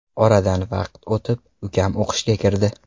Oradan vaqt o‘tib, ukam o‘qishga kirdi.